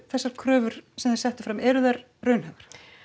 þessar kröfur sem þið settuð fram eru þær raunhæfar